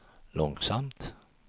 långsamt